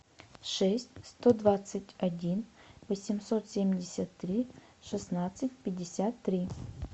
шесть сто двадцать один восемьсот семьдесят три шестнадцать пятьдесят три